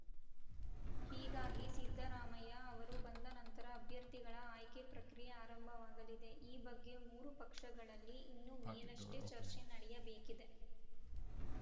ಹೀಗಾಗಿ ಸಿದ್ದರಾಮಯ್ಯ ಅವರು ಬಂದ ನಂತರ ಅಭ್ಯರ್ಥಿಗಳ ಆಯ್ಕೆ ಪ್ರಕ್ರಿಯೆ ಆರಂಭವಾಗಲಿದೆ ಈ ಬಗ್ಗೆ ಮೂರೂ ಪಕ್ಷಗಳಲ್ಲಿ ಇನ್ನು ಮೇಲಷ್ಟೇ ಚರ್ಚೆ ನಡೆಯಬೇಕಿದೆ